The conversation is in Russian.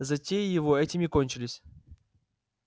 затеи его этим не кончились